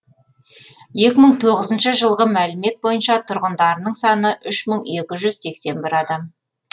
екі мың тоғызыншы жылғы мәлімет бойынша тұрғындарының саны үш мың екі жүз сексен бір адам